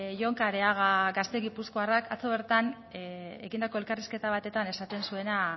jon kareaga gazte gipuzkoarrak atzo bertan ekindako elkarrizketa batetan esaten zuena